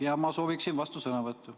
Jaa, ma sooviksin vastusõnavõttu.